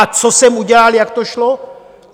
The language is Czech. A co jsem udělal, jak to šlo?